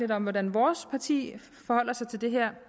lidt om hvordan vores parti forholder sig til det her